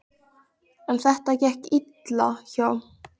En þetta gekk eitthvað illa hjá